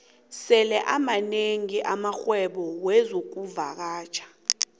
sele amanengi amarhwebo wexkuvakatjha